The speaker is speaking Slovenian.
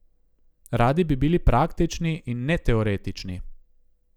Radi bi bili praktični, in ne teoretični.